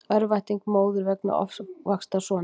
Örvænting móður vegna ofvaxtar sonar